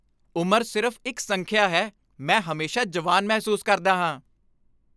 ਉਮਰ ਸਿਰਫ਼ ਇੱਕ ਸੰਖਿਆ ਹੈ। ਮੈਂ ਹਮੇਸ਼ਾ ਜਵਾਨ ਮਹਿਸੂਸ ਕਰਦਾ ਹਾਂ।